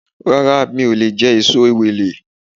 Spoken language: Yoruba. Rárá mi ò leè jé èso Ewèlè